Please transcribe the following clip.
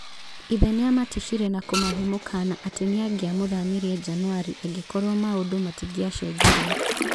Ithe nĩamatishire na kũmahe mũkana atĩ nĩangĩamũthamirie Januari angĩkorwo maũndũ matingĩacenjirie.